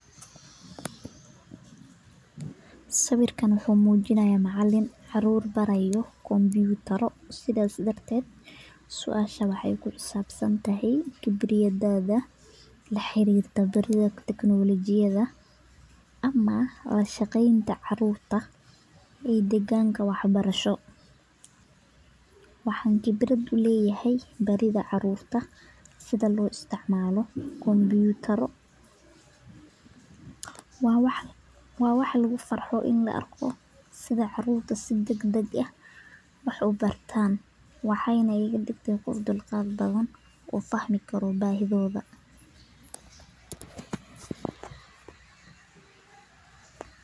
Sawiirkaan wuxuu mujinaaya macalim caruur baraayo kompitara xariirka la xariirto khibrad uleyahay barida caruurta sida koo isticmaalo waa wax lagu farxo hadii arko waxaay iga digta qof aad uxiisa badan.